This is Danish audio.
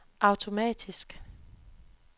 automatisk